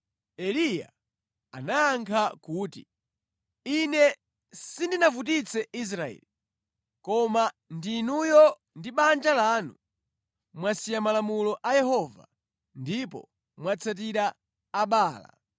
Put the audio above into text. Eliya anayankha kuti, “Ine sindinavutitse Israeli, koma ndinuyo ndi banja lanu. Mwasiya malamulo a Yehova ndipo mwatsatira Abaala.